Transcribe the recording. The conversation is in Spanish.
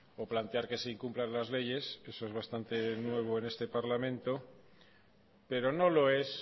o plantear que se incumplan las leyes eso es bastante nuevo en este parlamento pero no lo es